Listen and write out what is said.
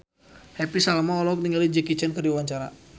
Happy Salma olohok ningali Jackie Chan keur diwawancara